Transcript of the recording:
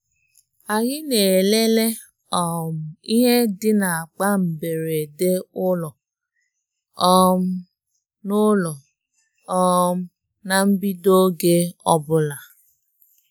Anyị na-elele um ihe dị n'akpa mberede ụlọ um na ụlọ um na mbido oge ọbụla.